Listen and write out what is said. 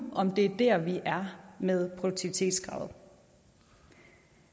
om det er der vi er med produktivitetskravet